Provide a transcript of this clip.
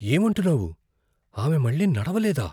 ఏమంటున్నావు? ఆమె మళ్ళీ నడవలేదా?